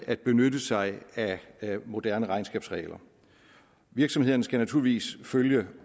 at benytte sig af moderne regnskabsregler virksomhederne skal naturligvis følge